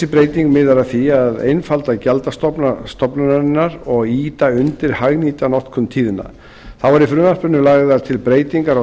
breyting miðar að því að einfalda gjaldstofna stofnunarinnar og ýta undir hagnýta notkun tíðna þá eru í frumvarpinu lagðar til breytingar á